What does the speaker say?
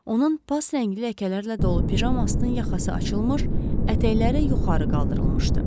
Onun pas rəngli ləkələrlə dolu pijamasının yaxası açılmış, ətəkləri yuxarı qaldırılmışdı.